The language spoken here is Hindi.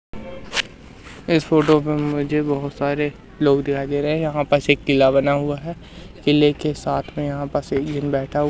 इस फोटो में मुझे बहोत सारे लोग दिखाई दे रहे हैं यहां पास एक किला बना हुआ है किले के साथ में यहां पास एक जन बैठा--